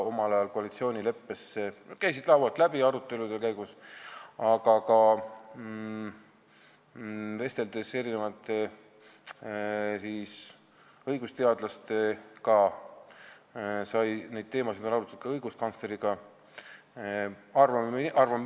Omal ajal koalitsioonileppe arutelude käigus käisid need teemad laualt läbi, ka vesteldes mitmete õigusteadlastega ning õiguskantsleriga sai neid teemasid arutatud.